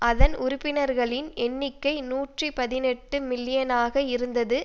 அதன் உறுப்பினர்களின் எண்ணிக்கை நூற்றி பதினெட்டு மில்லியனாக இருந்தது